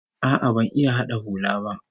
A'a, ban iya hada hula ba